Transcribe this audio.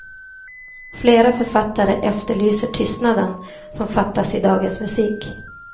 Flera författare efterlyser tystnaden, som fattas i dagens musik.